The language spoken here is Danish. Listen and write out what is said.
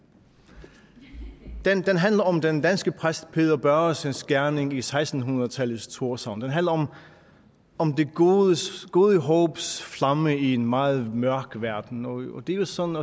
den handler om den danske præst peder børresens gerning i seksten hundrede tallets thorshavn den handler om det gode gode håbs flamme i en meget mørk verden og det er jo sådan